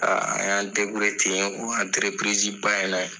Aa an y'an deburiye ten o anterepirizi ba in na ye